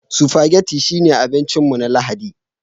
Spaghetti shine abincin mu na Lahadi